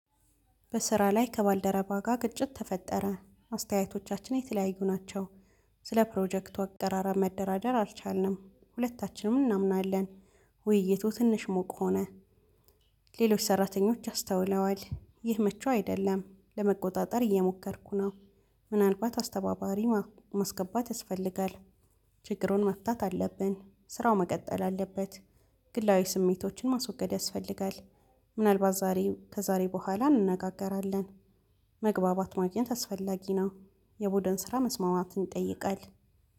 በስራ ላይ ከባልደረባ ጋር ግጭት ተፈጠረ አስተያየቶቻችን የተለያዩ ናቸው። ስለ ፕሮጀክት አቀራረብ መደራደር አልቻልንም ሁለታችንም እናምናለን ውይይቱ ትንሽ ሞቅ ሆነ። ሌሎች ሰራተኞች አስተውለዋል ይህ መቹ አይደለም። ለመቆጣጠር እየሞከርኩ ነው። ምናልባት አስተባባሪ ማስገባት ያስፈልጋል። ችግሩን መፍታት አለብን ስራው መቀጠል አለበት። ግላዊ ስሜቶችን ማስወገድ ያስፈልጋል። ምናልባት ዛሬ ከዛሬ በኋላ እንነጋገራለን። መግባባት ማግኘት አስፈላጊ ነው። የቡድን ስራ መስማማትን ይጠይቃል